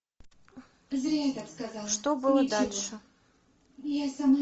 что было дальше